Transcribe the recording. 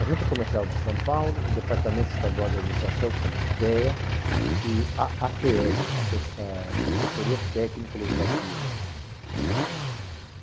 a Junta Comercial de São Paulo, o Departamento Estadual da Administração, chama-se DEA, e a à tê ele, Assessoria Técnico-Legislativa.